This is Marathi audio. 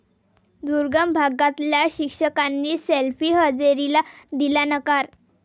दुर्गम भागातल्या शिक्षकांनी सेल्फी हजेरीला दिला नकार